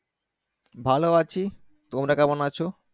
ভালো আছি তোমরা কেমন আছো।